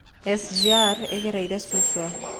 SGR ĩgereire Suswa